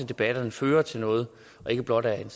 debatterne fører til noget og ikke blot er